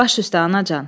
Baş üstə anacan.